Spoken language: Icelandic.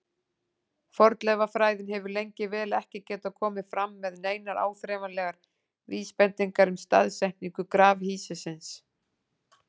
Fornleifafræðin hefur lengi vel ekki getað komið fram með neinar áþreifanlegar vísbendingar um staðsetningu grafhýsisins.